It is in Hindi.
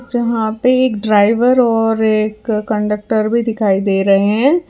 जहां पे एक ड्राइवर और एक कंडक्टर भी दिखाई दे रहे है।